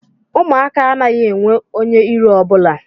Ụmụaka anaghị enwe onye iro ọ bụla